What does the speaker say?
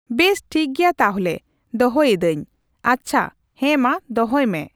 ᱵᱮᱥ ᱴᱷᱤᱠᱜᱮᱭᱟ ᱛᱟᱞᱦᱮ ᱫᱚᱦᱚᱭᱫᱟᱹᱧ ᱾ ᱟᱪᱪᱷᱟ ᱦᱮᱸᱢᱟ ᱫᱚᱦᱚᱭ ᱢᱮ ᱾